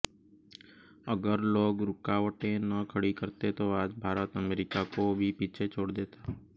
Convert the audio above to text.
अगर लोग रुकावटें न खड़ी करते तो आज भारत अमेरिका को भी पीछे छोड़ देता